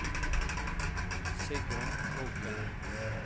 Sigrun Kroken